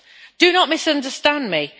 Do not misunderstand me.